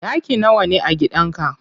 Ɗaki nawa ne a gidan ka?